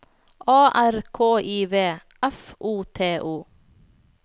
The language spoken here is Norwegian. A R K I V F O T O